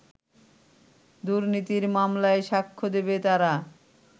দুর্নীতির মামলায় সাক্ষ্য দেবে তারা